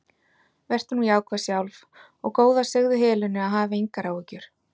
Vertu nú jákvæð sjálf og góða segðu Helenu að hafa engar áhyggjur.